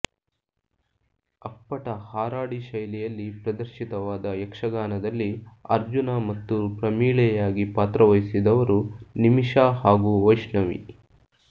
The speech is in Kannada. ಅಪ್ಪಟ ಹಾರಾಡಿ ಶೈಲಿಯಲ್ಲಿ ಪ್ರದರ್ಶಿತವಾದ ಯಕ್ಷಗಾನದಲ್ಲಿ ಅರ್ಜುನ ಮತ್ತು ಪ್ರಮೀಳೆಯಾಗಿ ಪಾತ್ರವಹಿಸಿದವರು ನಿಮಿಷಾ ಹಾಗೂ ವೈಷ್ಣವಿ